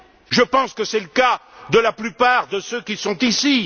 Je pense que c'est le cas de la plupart de ceux qui sont ici.